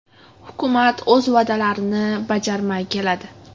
Hukumat o‘z va’dalarini bajarmay keladi.